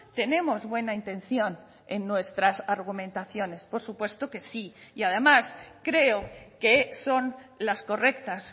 tenemos buena intención en nuestras argumentaciones por supuesto que sí y además creo que son las correctas